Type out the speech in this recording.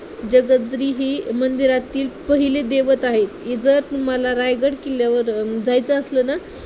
जगदीश्वर हि मंदिरातील पहिली दैवत आहे. इथं तुम्हाला रायगड किल्ल्यावर जायचं असलं ना